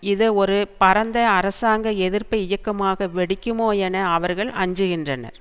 இது ஒரு பரந்த அரசாங்க எதிர்ப்பு இயக்கமாக வெடிக்குமோ என அவர்கள் அஞ்சுகின்றனர்